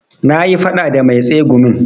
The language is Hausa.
Na yi faɗa da mai tsegumin